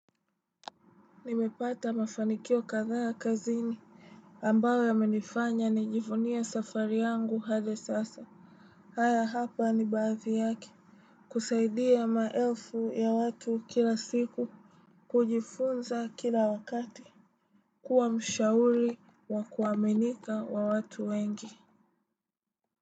Nimepata mafanikio kadhaa kazini ambayo yamenifanya nijivunie safari yangu hadi sasa. Haya hapa ni baadhi yake. Kusaidia maelfu ya watu kila siku. Kujifunza kila wakati. Kuwa mshauri wa kuaminika wa watu wengi.